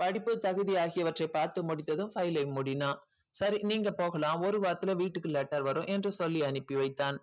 படிப்பு தகுதி ஆகியவற்றைப் பார்த்து முடித்ததும் file ஐ மூடினான் சரி நீங்க போகலாம் ஒரு வாரத்தில வீட்டுக்கு letter வரும் என்று சொல்லி அனுப்பி வைத்தான்